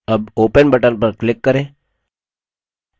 अब open button पर click करें